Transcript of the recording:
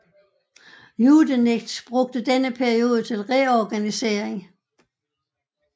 Yudenich brugte denne periode til reorganisering